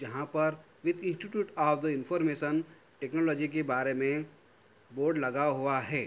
यहाँ पर with institute of the information technology के बारे में बोर्ड लगा हुआ है।